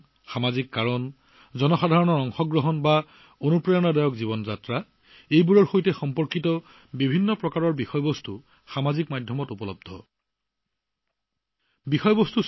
পৰ্যটন সামাজিক কাৰণ জনসাধাৰণৰ অংশগ্ৰহণ বা প্ৰেৰণাদায়ক জীৱনশৈলী এই সকলোবোৰ ছচিয়েল মিডিয়াত বিভিন্ন ধৰণৰ বিষয়বস্তুৰ সৈতে জড়িত